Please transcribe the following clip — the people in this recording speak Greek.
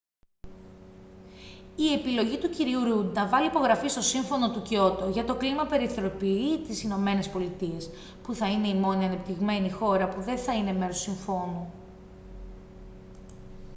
η επιλογή του κ ρουντ να βάλει υπογραφή στο σύμφωνο του κιότο για το κλίμα περιθωριοποιεί τις ηνωμένες πολιτείες που θα είναι η μόνη ανεπτυγμένη χώρα που δεν θα είναι μέρος του συμφώνου